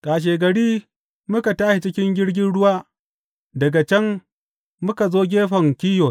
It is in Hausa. Kashegari muka tashi cikin jirgin ruwa daga can muka zo gefen Kiyos.